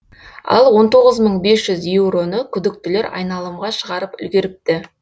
ал он тоғыз мың бес жүз еуроны күдіктілер айналымға шығарып үлгеріпті